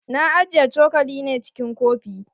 Na ajiye cokali ne cikin kofi.